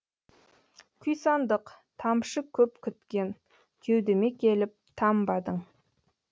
күйсандық тамшы көп күткен кеудеме келіп тамбадың